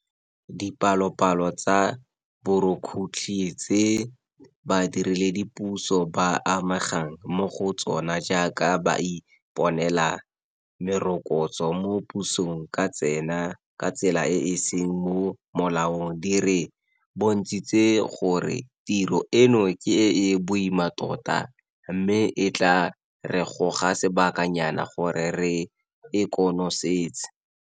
Dipalopalo tsa borukhutlhi tse badiredipuso ba amegang mo go tsona jaaka ba iponela merokotso mo pusong ka tsela e e seng mo molaong di re bontshitse gore tiro eno ke e e boima tota mme e tla re goga sebakanyana gore re e konosetse.